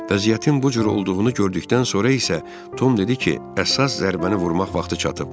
Vəziyyətin bu cür olduğunu gördükdən sonra isə Tom dedi ki, əsas zərbəni vurmaq vaxtı çatıb.